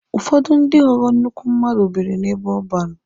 Ụfọdụ ndị ghọrọ nnukwu mmadụ biri n'ebe ọban.